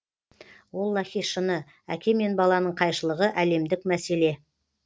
оллаһи шыны әке мен баланың қайшылығы әлемдік мәселе